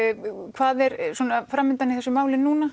hvað er framundan í þessu máli núna